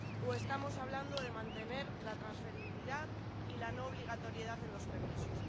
¿O estamos hablando de mantener la transferibilidad y la no obligatoriedad en los permisos?